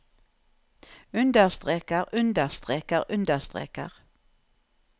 understreker understreker understreker